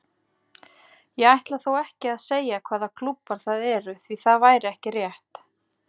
Ég ætla þó ekki að segja hvaða klúbbar það eru því það væri ekki rétt.